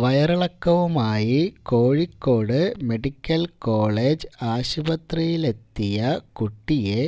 വയറിളക്കവുമായി Kozhikode medical college ആശുപത്രിയിലെത്തിയ കുട്ടിയെ